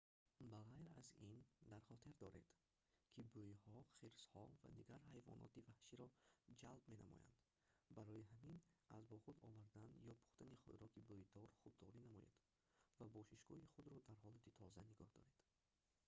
ба ғайр аз ин дар хотир доред ки бӯйҳо хирсҳо ва дигар ҳайвоноти ваҳширо ҷалб менамоянд барои ҳамин аз бо худ овардан ё пухтани хӯроки бӯйдор худдорӣ намоед ва бошишгоҳи худро дар ҳолати тоза нигоҳ доред